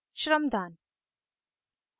shramdaan